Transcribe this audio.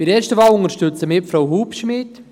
Bei der ersten Wahl unterstützen wir Frau Hubschmid.